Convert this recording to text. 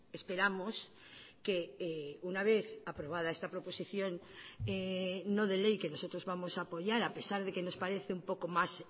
esperamos que una vez aprobada esta proposición no de ley que nosotros vamos a apoyar a pesar de que nos parece un poco más